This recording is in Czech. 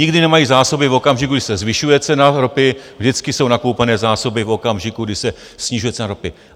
Nikdy nemají zásoby v okamžiku, když se zvyšuje cena ropy, vždycky jsou nakoupené zásoby v okamžiku, když se snižuje cena ropy.